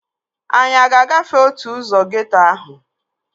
Anyị a ga-agafe otu ụzọ geeto ahụ?